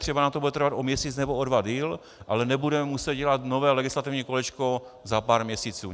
Třeba nám to bude trvat o měsíc nebo o dva déle, ale nebudeme muset dělat nové legislativní kolečko za pár měsíců.